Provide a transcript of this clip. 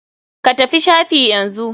Ka tafi shafi yanzu.